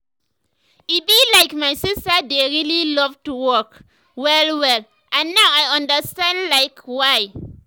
e be like my sister dey really love to walk well well and now i understand like why.